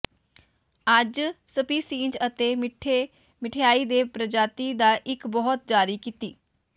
ਅੱਜ ਸਪੀਸੀਜ਼ ਅਤੇ ਮਿੱਠੇ ਮਿਠਆਈ ਦੇ ਪ੍ਰਜਾਤੀ ਦਾ ਇੱਕ ਬਹੁਤ ਜਾਰੀ ਕੀਤੀ